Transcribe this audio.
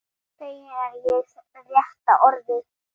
Feginn er ekki rétta orðið.